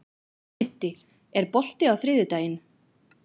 Siddi, er bolti á þriðjudaginn?